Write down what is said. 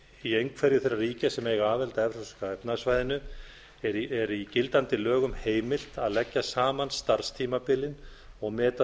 í einhverju þeirra ríkja sem eiga aðild að evrópska efnahagssvæðinu er í gildandi lögum heimilt að leggja saman starfstímabilin og meta